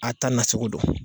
A ta na cogo don.